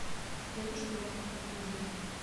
дедушка легкого поведения